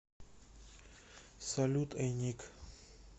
салют эй ник